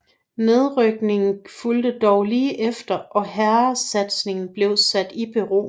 Nedrykningen fulgte dog lige efter og herresatsningen blev sat i bero